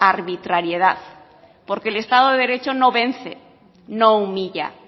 arbitrariedad porque el estado de derecho no vence no humilla